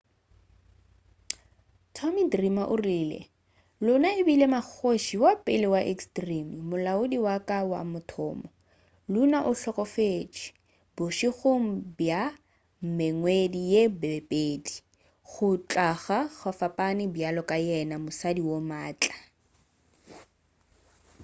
tommy dreamer o rile luna e bile mmakgoši wa pele wa extreme molaodi wa ka wa mathomo luna o hlokofetše bošegong bja mengwedi ye mebedi go tloga go fapane bjalo ka yena mosadi wo maatla